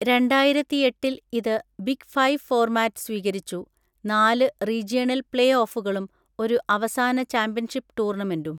രണ്ടായിരത്തി എട്ടിൽ ഇത് ബിഗ് ഫൈവ് ഫോർമാറ്റ് സ്വീകരിച്ചു, നാല് റീജിയണൽ പ്ലേഓഫുകളും ഒരു അവസാന ചാമ്പ്യൻഷിപ്പ് ടൂർണമെൻറ്റും.